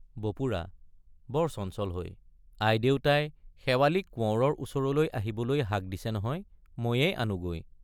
বপুৰা—বৰ চঞ্চল হৈ আইদেউতাই—শেৱালিক কোঁৱৰৰ ওচৰলৈ আহিবলৈ হাক দিছে নহয়—ময়েই আনোগৈ।